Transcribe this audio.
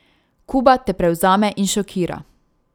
Kuba te prevzame in šokira.